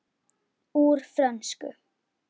Úr frönsku